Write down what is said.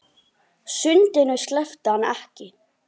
Sundinu sleppti hann ekki.